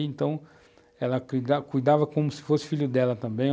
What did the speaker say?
Então, ela cuidava como se fosse filho dela também.